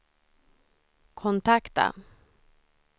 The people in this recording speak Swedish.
kontakta